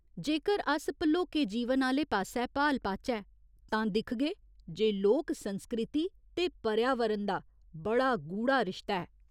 जेकर अस भलोके जीवन आह्‌ले पास्सै भाल पाचै तां दिक्खगे जे लोक संस्कृति ते पर्यावरण दा बड़ा गूढ़ा रिश्ता ऐ।